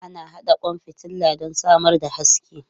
Ana haɗa kwan fitila don samar da haske.